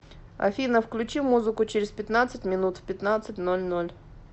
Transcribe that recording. афина включи музыку через пятнадцать минут в пятнадцать ноль ноль